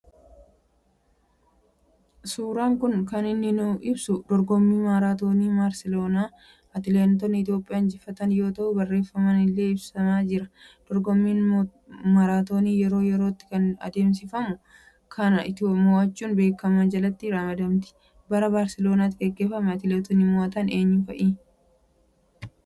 Suuraan kun kan inni ibsu dorgomii maaraatoniii Barsaloonaa Atileetonni Itoophiyaa injifatan yoo ta'u barreefamaan illee ibsamee jira. Dorgommiin maraatoonii yeroo yerootti kan adeemsifamu yoo ta'u Itoophiyaan illee biyyoota dorgommii kana mo'achuudhaan beekaman jalatti ramadamti. Bara Barsaloonaatti geggeeffamee Atileetonni mo'atan eenyu fa'i?